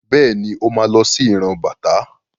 Bẹ́ẹ̀ni, Ó ma lọ sí ìran bàtá.